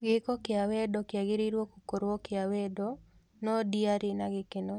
Gĩk kĩa wendo kĩagĩĩirwo gũkorwo kĩa wendo ,no ndĩarĩ na gĩkeno